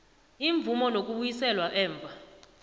imvumo nokubuyiselwa emva